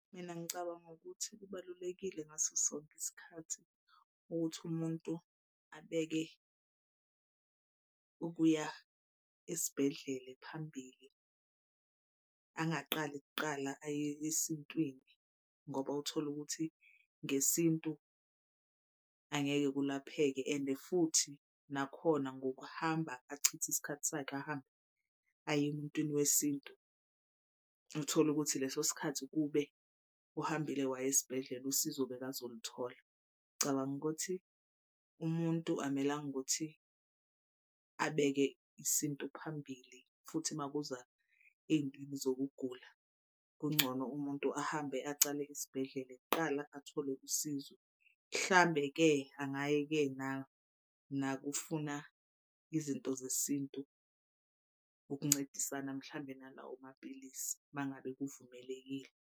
Mina ngicabanga ukuthi kubalulekile ngaso sonke isikhathi ukuthi umuntu abeke ukuya esibhedlele phambili angaqali kuqala aye esontweni ngoba utholukuthi ngesintu angeke kulapheke and futhi nakhona ngokuhamba achithe isikhathi sakhe ahambe aye emuntwini wesintu. Uthole ukuthi leso sikhathi kube uhambile waya esibhedlela usizo bheka zolithola. Cabanga ukuthi umuntu amelanga ukuthi abeke isintu phambili futhi makuza ey'ntweni zokugula. Kungcono umuntu ahambe acale esibhedlele kuqala athole usizo. Mhlambe-ke angaye-ke nakufuna izinto zesintu ukuncedisana mhlambe nalawo mapilisi uma ngabe kuvumelekile.